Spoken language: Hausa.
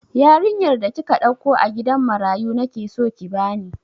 Yarinyar da kika ɗauko a gidan marayu nake so ki bani!